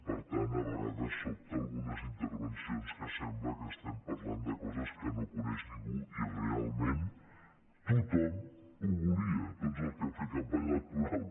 per tant a vegades sobten algunes intervencions que sembla que estem parlant de coses que no coneix ningú i realment tothom ho volia tots els que hem fet campanya electoral